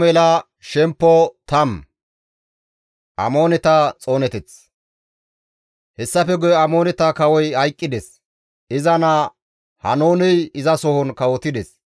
Hessafe guye Amooneta kawoy hayqqides; iza naa Haanooney izasohon kawotides.